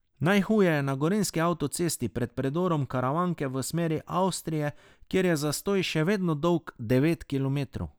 Najhuje je na gorenjski avtocesti pred predorom Karavanke v smeri Avstrije, kjer je zastoj še vedno dolg devet kilometrov.